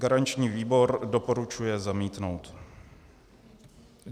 Garanční výbor doporučuje zamítnout.